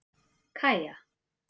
Kaja